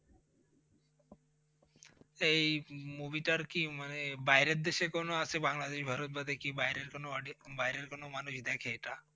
এই Movie টার কি মানে বাইরের দেশে কোন আসে বাংলাদেশ বা ভারত বাদে বাইরের কোন মানুষ দেখে এটা?